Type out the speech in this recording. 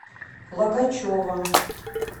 логачева